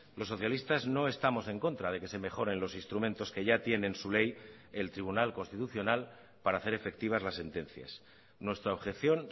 los socialistas no estamos en contra de que se mejoren los instrumentos que ya tiene en su ley el tribunal constitucional para hacer efectivas las sentencias nuestra objeción